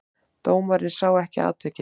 Dómarinn sá ekki atvikið.